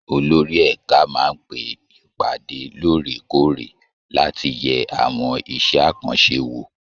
Olórí ẹ̀ka máa ń pe ìpàdé lóòrè kóòrè láti yẹ àwọn iṣẹ́ àkànṣe wò